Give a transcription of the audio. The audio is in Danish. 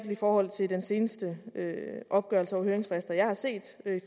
i forhold til den seneste opgørelse over høringsfrister jeg har set